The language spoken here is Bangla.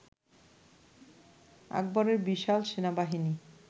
আকবরের বিশাল সেনাবাহিনীর